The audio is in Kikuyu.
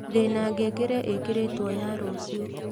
ndĩna ngengere ĩikĩrĩtwo ya rũcĩo